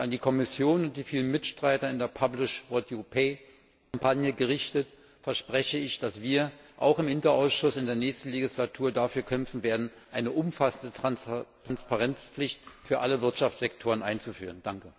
An die Kommission und die vielen Mitstreiter in der publish what you pay Kampagne gerichtet verspreche ich, dass wir auch im INTA Ausschuss in der nächsten Legislatur dafür kämpfen werden, eine umfassende Transparenzpflicht für alle Wirtschaftssektoren einzuführen.